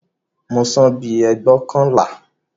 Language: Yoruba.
Mo san bíi ẹgbóokànlá